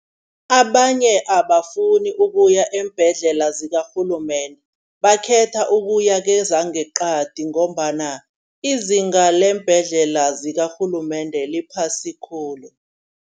Abanye abafuni ukuya eembhedlela zikarhulumende, bakhetha ukuya kwezangeqadi ngombana izinga leembhedlela zakarhulumende liphasi khulu.